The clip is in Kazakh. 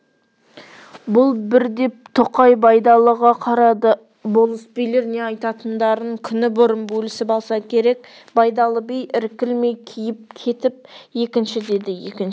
бұл бір деп тоқай байдалыға қарады болыс-билер не айтатындарын күні бұрын бөлісіп алса керек байдалы би іркілмей киіп кетіпекінші деді екінші